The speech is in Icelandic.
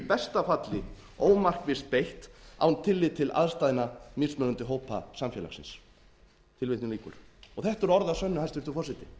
besta falli ómarkvisst beitt án tillits til aðstæðna mismunandi hópa samfélagsins þetta eru orð að sönnu hæstvirtur forseti